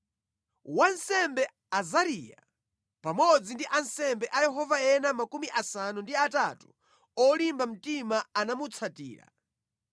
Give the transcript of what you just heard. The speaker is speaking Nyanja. Wansembe Azariya pamodzi ndi ansembe a Yehova ena 80 olimba mtima anamutsatira.